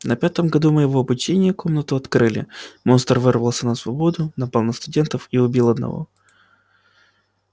на пятом году моего обучения комнату открыли монстр вырвался на свободу напал на студентов и убил одного